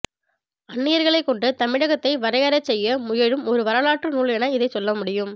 அன்னியர்களைக்கொண்டு தமிழகத்தை வரையறைசெய்ய முயலும் ஒரு வரலாற்று நூல் என இதைச் சொல்லமுடியும்